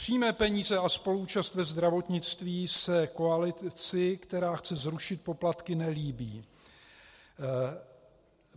Přímé peníze a spoluúčast ve zdravotnictví se koalici, která chce zrušit poplatky, nelíbí.